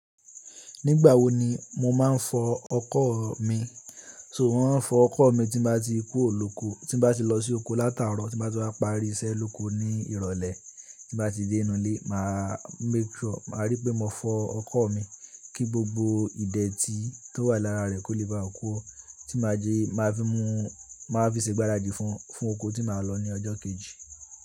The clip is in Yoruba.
Nígbà wo ni mo máa ń fọ ọkọ̀ mi? So mò ń fọ ọkọ̀ mi tí bá ti kú òlùkó, tí bá ti lọ sí oko látàárọ̀, tí bá ti wá parí iṣẹ́ lóko ní ìrọ̀lẹ́, tí bá ti dé inú ilé, màá make sure, màá rí pé mo fọ ọkọ̀ mi kí gbogbo ìdè tí tó wà lára rẹ̀ kó lè báa ku o tí máa fi ṣe gbáradì fún, fún oko tí màá lọ ní ọjọ́ kejì.